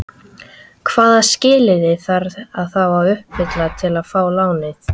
Hvaða skilyrði þarf þá að uppfylla til að fá lánið?